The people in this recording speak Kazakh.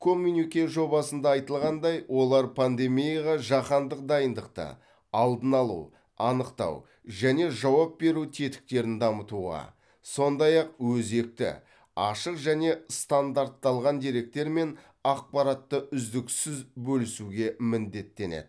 коммюнике жобасында айтылғандай олар пандемияға жаһандық дайындықты алдын алу анықтау және жауап беру тетіктерін дамытуға сондай ақ өзекті ашық және стандартталған деректер мен ақпаратты үздіксіз бөлісуге міндеттенеді